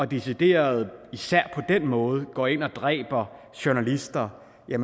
decideret især på den måde går ind og dræber journalister er